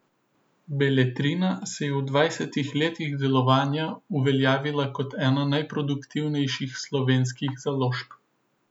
Beletrina se je v dvajsetih letih delovanja uveljavila kot ena najproduktivnejših slovenskih založb.